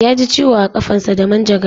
Yaji ciwo a ƙafansa da manjagara